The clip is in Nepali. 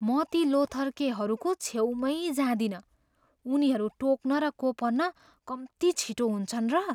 म ती लोथर्केहरूको छेउमै जादिनँ। उनीहरू टोक्न र कोपर्न कम्ती छिटो हुन्छन् र!